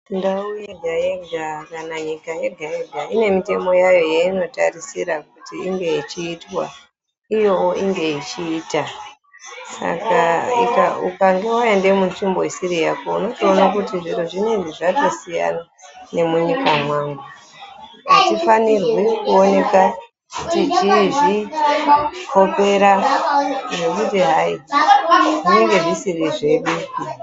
Ndau yega yega kana nyika yega yega ine mitemo yayo yeinotarisira kuti inge ichiitwa iyowo inge ichiita saka ukange waenda munzvimbo isiri Yako unotoona kuti zviro zvinezvi zvatosiyana nemunyika mwangu atifanirwi kuoneka techizvikopera zvekuti hai zvinenge zvisiri zvedu.